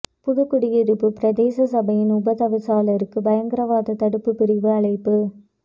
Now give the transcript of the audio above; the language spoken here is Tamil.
புதுக்குடியிருப்பு பிரதேச சபையின் உப தவிசாளருக்கு பயங்கரவாத தடுப்பு பிரிவு அழைப்பு